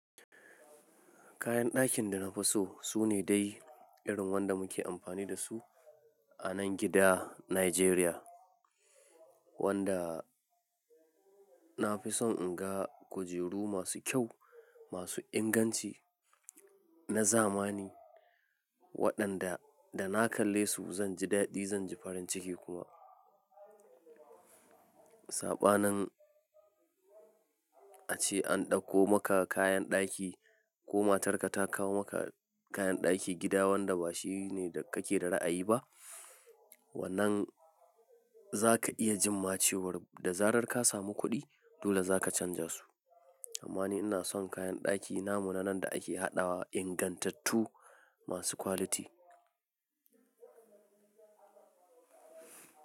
Kayan dakin da na fi so su ne dai irin wanda muke amfani da su a nan gida Nijeriya, wanda na fi son in ga kujeru masu kyau, masu inganci na zamani waɗanda da na kalle su zan ji dadi zan ji farin ciki kuma. Saɓanin ace an ɗauko maka kayan daki ko matarka ta kawo maka kayan daki gida wanda ba shi ne da kake da ra'ayi ba, wannan za ka iya jin macewar da zarar ka samu kuɗi dole za ka canja su. Amma ni ina son kayan daki na muna nan da ake haɗawa ingantattu masu kwaliti.